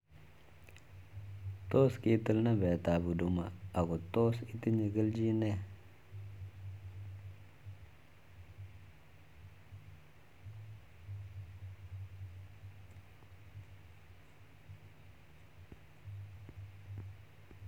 Tos kitil numbek ab huduma ako tos itinye kelchin nee